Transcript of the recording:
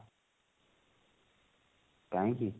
କାହିଁକି